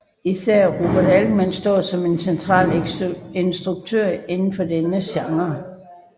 Især Robert Altman står som en central instruktør inden for denne genre